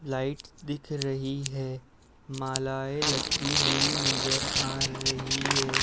Light दिख रही है। मालाएं लटकी हुई नजर आ रही है ।